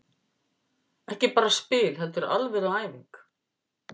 Ekki bara spil heldur alvöru æfing.